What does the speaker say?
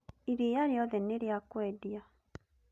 Iria rĩothe nĩ rĩa kwendia